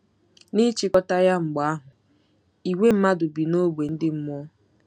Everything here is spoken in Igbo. N'ịchịkọta ya, mgbe ahụ, ìgwè mmadụ bi n'ógbè ndị mmụọ.